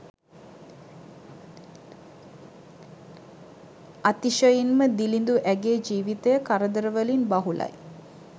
අතිශයින්ම දිළිදු ඇගේ ජීවිතය කරදරවලින් බහුලයි